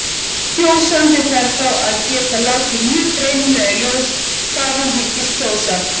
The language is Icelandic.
Kjósandi þarf þá að geta látið mjög greinilega í ljós hvað hann hyggst kjósa.